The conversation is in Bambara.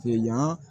yan